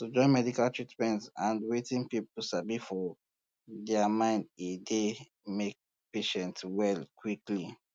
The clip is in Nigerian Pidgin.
to join medical treatment and wetin people sabi for dia mind e dey um make patient well quickly